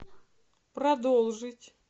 продолжить